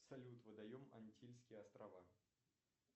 салют водоем антильские острова